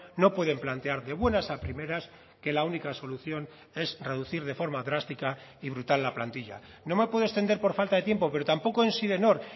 no pueden plantear de buenas a primeras que la única solución es reducir de forma drástica y brutal la plantilla no me puedo extender por falta de tiempo pero tampoco en sidenor